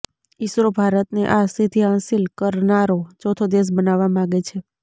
ઈસરો ભારતને આ સિદ્ધી હાંસિલ કરનારો ચોથો દેશ બનાવવા માગે છે